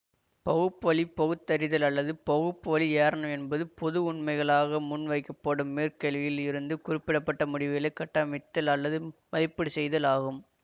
பகுப்புவழி பகுத்தறிதல் அல்லது பகுப்புவழி ஏரணம் என்பது பொது உண்மைகளாக முன்வைக்கப்படும் மேற்கேள்களில் இருந்து குறிப்பிட பட்ட முடிவுகளை கட்டமைத்தல் அல்லது மதிப்பீடு செய்தல் ஆகும்